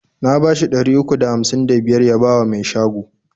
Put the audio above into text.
Na bashi ɗari uku da hamsin da biyar ya bawa mai shago.